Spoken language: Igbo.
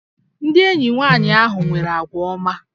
Ndị enyi nwanyị ahụ nwere àgwà ọma